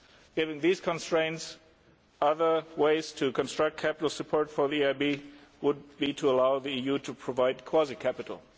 Given these constraints, another way to construct capital support for the EIB would be to allow the EU to provide quasi capital.